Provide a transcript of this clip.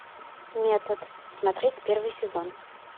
метод смотреть первый сезон